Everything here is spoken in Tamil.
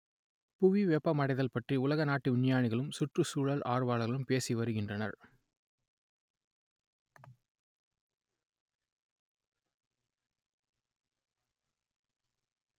புவி வெப்பமடைதல் பற்றி உலக நாட்டு விஞ்ஞானிகளும் சுற்றுச்சூழல் ஆர்வலர்களும் பேசி வருகின்றனர்